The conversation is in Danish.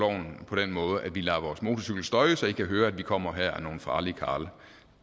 på den måde at vi lader vores motorcykel støje så i kan høre at vi kommer her og er nogle farlige karle